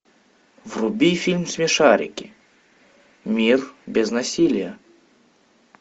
вруби фильм смешарики мир без насилия